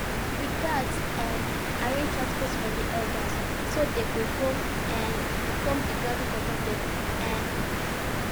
we gats um arrange transport for the elders so they go um come the gathering comfortably um